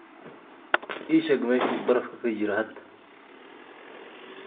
ii sheeg meesha uu baraf ka jiro hadda